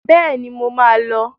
Bẹ́ẹ̀ni, mo má a lọ.